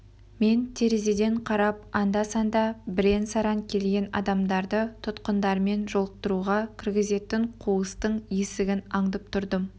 мен терезеден қарап анда-санда бірен-саран келген адамдарды тұтқындармен жолықтыруға кіргізетін қуыстың есігін аңдып тұрдым